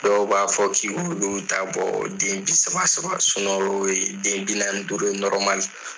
Dɔw b'a fɔ k'i k'olu ta bɔ den saba saba ye den bi naani ni duuru la.